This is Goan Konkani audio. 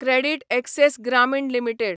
credit access Grameen limited